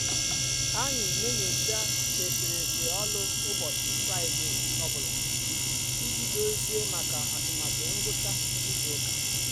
anyị n'enyocha eserese ọlụ ụbọchị fraịde ọ bụla iji dozie maka atụmatụ ngwucha izu ụka.